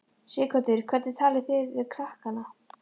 Sighvatur: Hvernig talið þið þá við krakkana?